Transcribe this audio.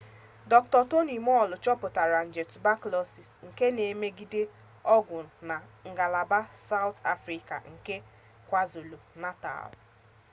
dr. toni moll chọpụtara nje tubakụlọsis xdr-tb nke na-emegide ọgwụ na ngalaba sawụt afrịka nke kwazulu-natal